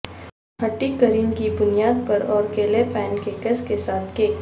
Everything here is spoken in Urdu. ھٹی کریم کی بنیاد پر اور کیلے پینکیکس کے ساتھ کیک